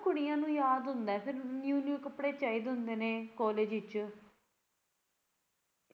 ਕੁੜੀਆਂ ਨੂੰ ਯਾਦ ਹੁੰਦਾ ਐ ਫੇਰ new new ਕੱਪੜੇ ਚਾਹੀਦੇ ਹੁੰਦੇ ਨੇ college ਵਿੱਚ